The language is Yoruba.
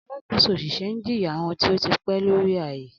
Alakoso oṣiṣẹ n jiya awọn ti o ti pẹ lori aaye.